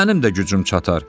Mənim də gücüm çatar.